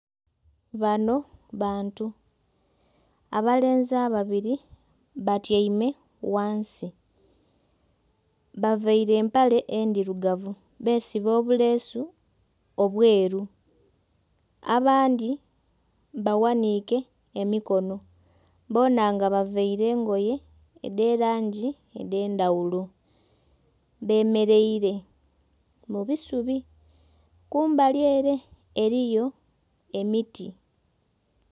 Bano bantu abalenzi ababiri batyaime ghansi bavaire empale endhirugavu besiba obureesu obweeru abandhi baghanike emikono boona nga bavaire engoye dhe langi edhendhaghulo bamereire kubusubi, kumbali ere eriyo emiti.